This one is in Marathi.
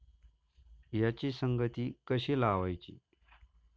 याची संगती कशी लावायची?